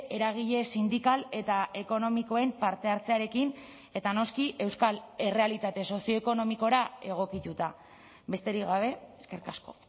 eragile sindikal eta ekonomikoen parte hartzearekin eta noski euskal errealitate sozioekonomikora egokituta besterik gabe eskerrik asko